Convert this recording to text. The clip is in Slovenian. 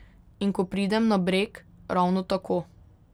In ko pridem na Breg, ravno tako.